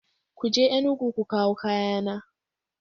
Ku je Enugu ku kawo kayana!